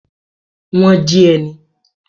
Wọ́n jí ẹ ni?